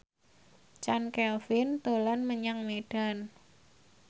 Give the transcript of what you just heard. Chand Kelvin dolan menyang Medan